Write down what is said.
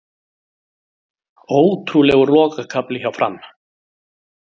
Ótrúlegur lokakafli hjá Fram